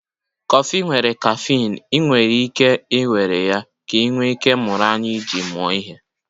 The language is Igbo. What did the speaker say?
Kọfị nwere caffeine, ị nwere ike iwere ya ka ị nwee ike ịmụrụ anya iji mụọ ihe